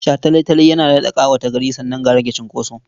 Shataletale yana daɗa ƙawata gari sannan ga rage cunkoso.